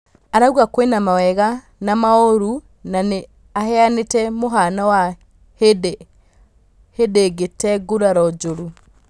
Arauga kwĩ na mawega na maũru na nĩ aheanĩ te mũhano wa hĩ ndĩ agĩ te nguraro njũru.